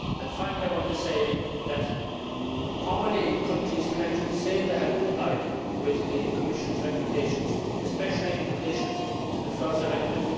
Finally, I want to ask how many countries can actually say that they have complied with the Commission's recommendations, especially in relation to the Floods Directive?